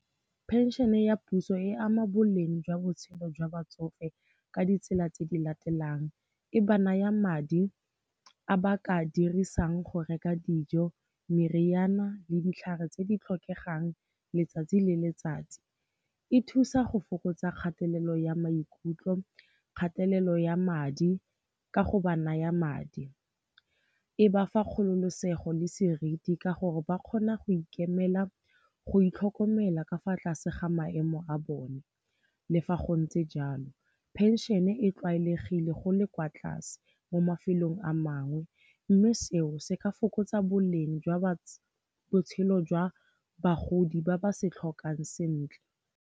Phenšene ya puso e ama boleng jwa botshelo jwa batsofe ka ditsela tse di latelang. E ba naya madi a ba ka dirisang go reka dijo, meriana le ditlhare tse di tlhokegang letsatsi le letsatsi. E thusa go fokotsa kgatelelo ya maikutlo, kgatelelo ya madi ka go ba naya madi. E ba fa kgololosego le seriti ka gore ba kgona go ikemela, go itlhokomela ka fa tlase ga maemo a bone. Le fa gontse jalo, phenšene e tlwaelegile go le kwa tlase mo mafelong a mangwe, mme seo se ka fokotsa boleng jwa botshelo jwa bagodi ba ba se tlhokang sentle.